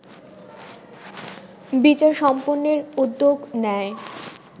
বিচার সম্পন্নের উদ্যোগ নেয়